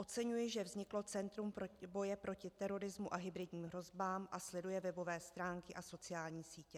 Oceňuji, že vzniklo centrum boje proti terorismu a hybridním hrozbám a sleduje webové stránky a sociální sítě.